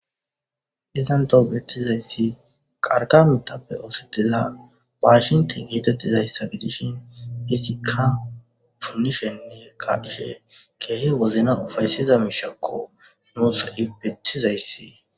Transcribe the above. isantahobetizayssi qarqa mitappe oosedila waashinti geetettizayssa gidishin isikka phunishenne ka ishe keehi wozna ufayssiza miishakko nuusa7ibethizayssi